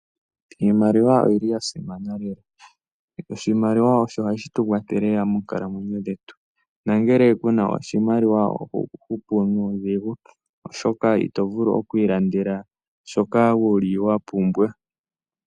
Iimaliwa oyili yasimana lela, oshimaliwa osho hashitukwathele lela monkalamwenyo dhetu nangele kuna oshimaliwa Oho hupu nudhingu oshoka ito vulu okwilandela shoka wuli wapumbwa.